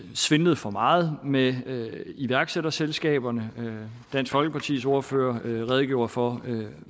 svindlet for meget med iværksætterselskaberne dansk folkepartis ordfører redegjorde for